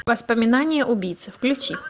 воспоминания убийцы включи